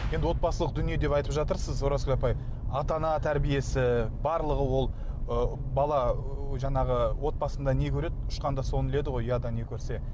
енді отбасылық дүние деп айтып жатырсыз оразгүл апай ата ана тәрбиесі барлығы ол ы бала ы жаңағы отбасында не көреді ұшқанда соны іледі ғой ұяда не көрсе